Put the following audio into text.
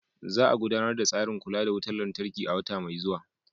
Za a gudanar da tsarin kula da wutar lantarki a wata mai zuwa.